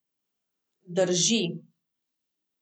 Drži.